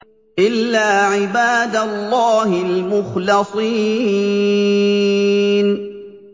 إِلَّا عِبَادَ اللَّهِ الْمُخْلَصِينَ